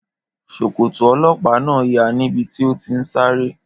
Ṣòkòtò ọlọ́pàá náà ya níbi tó ti ń sáré